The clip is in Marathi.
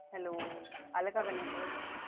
hello आलं का ग network